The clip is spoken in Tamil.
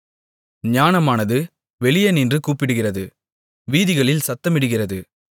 ஞானமானது வெளியே நின்று கூப்பிடுகிறது வீதிகளில் சத்தமிடுகிறது